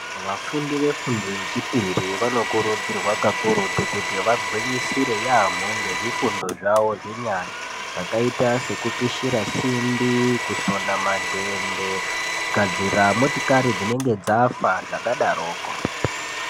Vafundi vefundo yechipiri vanokurudzirwa kakurutu kuti vagwinyisire yaamho ngezvifundo zvavo zvenyara zvakaita sekupishira simbi, kusona madhende ,kugadzira motikari dzinenge dzafa zvakadaroko.